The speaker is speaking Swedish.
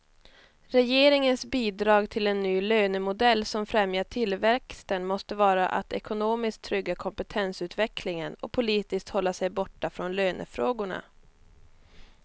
Regeringens bidrag till en ny lönemodell som främjar tillväxten måste vara att ekonomiskt trygga kompetensutvecklingen och politiskt hålla sig borta från lönefrågorna.